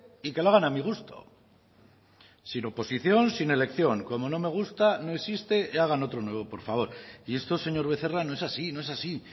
y que lo hagan a mi gusto sin oposición sin elección como no me gusta no existe y hagan otro nuevo por favor y esto señor becerra no es así no es así